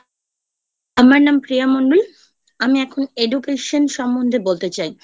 আমার নাম প্রিয়া মন্ডল আমি এখন Education সমন্ধে বলতে চাই